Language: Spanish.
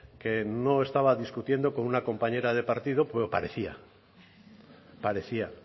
que no estaba discutiendo con una compañera de partido pero parecía parecía